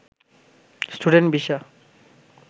student visa